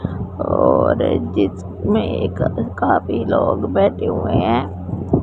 और जिसमें एक काफी लोग बैठे हुए हैं।